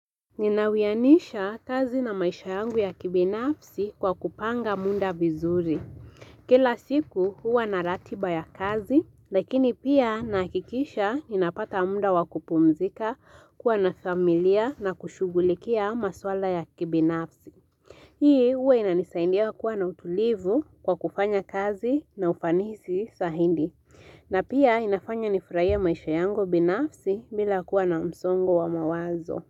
Ninawianisha kazi na maisha yangu ya kibinafsi kwa kupanga munda vizuri. Kila siku huwa naratiba ya kazi, lakini pia nakikisha inapata munda wakupumzika kuwa na familia na kushugulikia maswala ya kibinafsi. Hii huwa inanisaindia kuwa na utulivu kwa kufanya kazi na ufanisi sahindi. Na pia inafanya nifurahie maisha yangu binafsi bila kuwa na msongo wa mawazo.